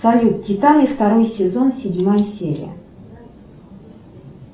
салют титаны второй сезон седьмая серия